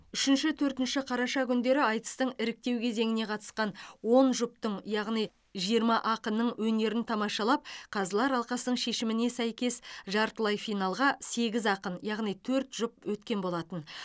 үшінші төртінші қараша күндері айтыстың іріктеу кезеңіне қатысқан он жұптың яғни жиырма ақынның өнерін тамашалап қазылар алқасының шешіміне сәйкес жартылай финалға сегіз ақын яғни төрт жұп өткен болатын